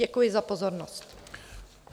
Děkuji za pozornost.